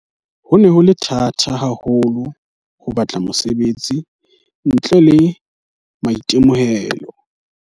"Ho ne ho le thata haho lo ho batla mosebetsi ntle le maitemohelo."